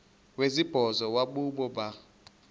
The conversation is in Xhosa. wesibhozo wabhu bha